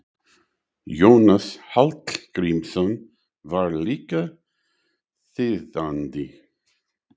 Jónas Hallgrímsson var líka þýðandi.